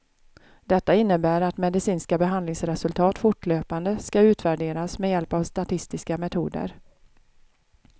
Detta innebär att medicinska behandlingsresultat fortlöpande skall utvärderas med hjälp av statistiska metoder.